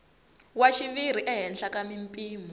wa xiviri ehenhla ka mimpimo